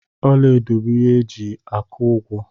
Ọla edo bụ ihe eji aku ụgwọ.